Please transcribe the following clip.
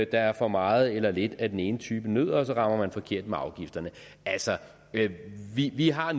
er for meget eller for lidt af den ene type nødder og så rammer man forkert med afgifterne altså vi vi har